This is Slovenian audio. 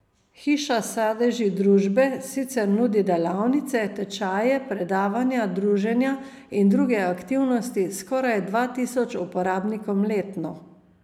Hiša sadeži družbe sicer nudi delavnice, tečaje, predavanja, druženja in druge aktivnosti skoraj dva tisočim uporabnikom letno.